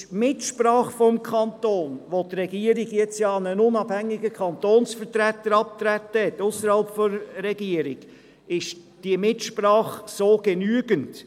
Ist die Mitsprache des Kantons ausreichend, wo doch die Regierung jetzt einen unabhängigen Kantonsvertreter, der nicht der Regierung angehört, abgesandt hat?